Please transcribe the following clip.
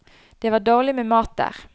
Det var dårlig med mat der.